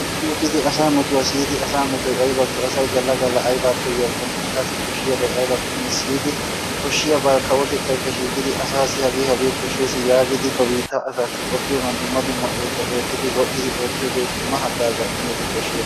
Uttidi asaa metuwa siyidi asaa metoy aybakko, asay galla galla aybaa koyiyakkonne asaassi koshshiyabay aybakkonne siyidi koshshiyabaa kawotettaykka shiiqidi asaassi hagee hagee koshshees yaagidi ba biittaa asaassi qoppiyogan dumma dumma oosuwa wodhdhidi dumma dumma oosuwa oottiyogee, dumma haggaazaa immiyogee koshshiyaba.